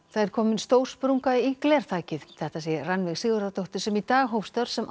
það er komin stór sprunga í glerþakið þetta segir Rannveig Sigurðardóttir sem í dag hóf störf sem